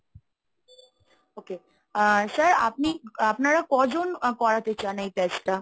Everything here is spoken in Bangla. okay আহ sir আপনি আপনারা কজন করাতে চান এই test টা?